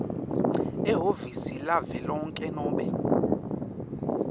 ehhovisi lavelonkhe nobe